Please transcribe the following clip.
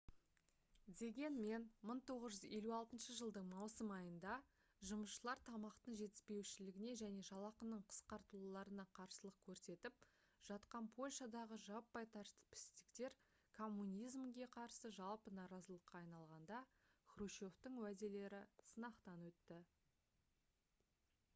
дегенмен 1956 жылдың маусым айында жұмысшылар тамақтың жетіспеуіне және жалақының қысқартылуларына қарсылық көрсетіп жатқан польшадағы жаппай тәртіпсіздіктер коммунизмге қарсы жалпы наразылыққа айналғанда хрущевтің уәделері сынақтан өтті